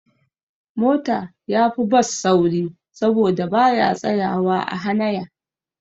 Mota yafi Bus sauri saboda baya tsayawa a hanaya